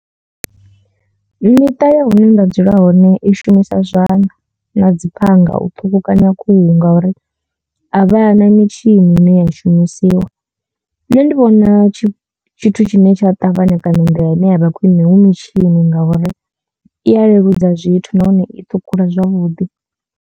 Miṱa ya hune nda dzula hone i shumisa zwanḓa na dzi phanga u ṱhukhukanya khuhu ngauri a vha na mitshini ine ya shumisiwa nṋe ndi vhona tshithu tshine tsha ṱavhanya kana nḓila ine ya vha khwine hu mitshini ngauri i ya leludza zwithu nahone i ṱhukhula zwavhuḓi.